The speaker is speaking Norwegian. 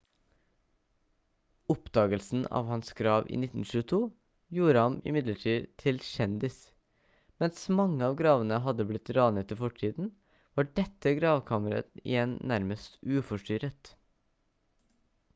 oppdagelsen av hans grav i 1922 gjorde ham imidlertid til kjendis mens mange av gravene hadde blitt ranet i fortiden var dette gravkammeret igjen nærmest uforstyrret